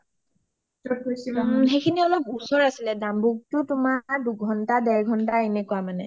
সেইসিনি অলপ ওচৰ আছিলে ডাম্বুকটো তোমাৰ দুঘণ্টা দেৰঘণ্টা এনেকোৱা মানে